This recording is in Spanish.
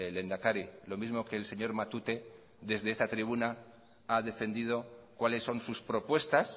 lehendakari lo mismo que el señor matute desde esta tribuna ha defendido cuáles son sus propuestas